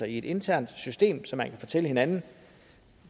i et internt system så man kan fortælle hinanden